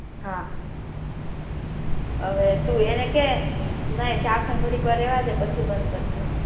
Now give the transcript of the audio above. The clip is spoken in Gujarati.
હા હવે તુ એને કે નહિ ઢાંકણું ઘડીક વાર રેવાદે પછી બંધ કરજે